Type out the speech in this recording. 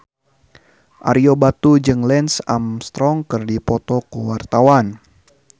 Ario Batu jeung Lance Armstrong keur dipoto ku wartawan